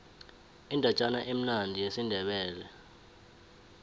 indatjana emnandi yesindebele